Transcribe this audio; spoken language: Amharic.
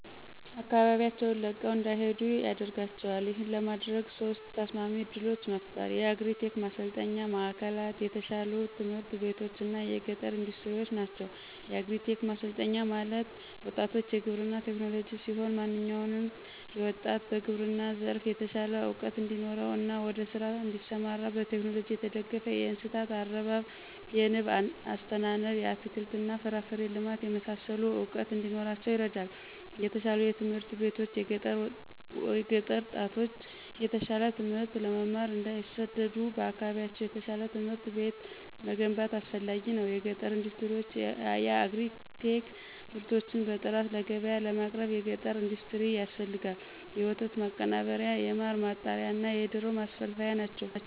ከአካባቢያቸውን ለቀው እንዳይሄዱ ያደደርጋቸዋል። ይህን ለማድረግ ሶስት ተስማሚ እድሎችን መፍጠር። የአግሪ-ቴክ ማሠልጠኝ ማዕከልላት፣ የተሻሉ ትምህርት ቤቶች እና የገጠር ኢንዱስትሪዎች ናቸው። -የአግሪ-ቴክ ማሠልጠኛ ማዕከል ማለት፦ ወጣቶች የግብርና ቴክኖሎጅ ሲሆን። ማንኛውም ወጣት በግብርና ዘርፍ የተሻለ እውቀት እንዲኖረው እና ወደ ስራ እዲሠማራ በቴክኖሎጅ የተደገፈ የእንስሳት አረባብ፣ የንብ አስተናነብ፣ የአትክልት እና ፍራፍሬ ልማት የመሳሠሉ እውቀት እንዲኖራቸው ይረዳል። -የተሻሉ ትምህርት ቤቶች፦ የገጠር ጣቶች የተሻለ ትምህት ለመማር እንዳይሠደዱ በአካባቢያቸው የተሻለ ትምህርት ቤት መገንባት አስፈላጊ ነው። -የገጠር ኢንዱስትሪዎች፦ የየአግሪ-ቴክ ምርቶችን በጥራት ለገብያ ለማቅረብ የገጠር ኢንዱስትሪ ያስፈልጋል የወተት ማቀናበሪያ፣ የማር ማጣሪያ፣ እና የዶሮ ማስፈልፈያ ናቸው።